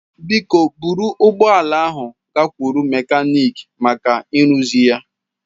Biko buru ụgbọ ala ahụ gakwuru mekaniki maka ịrụzi ya.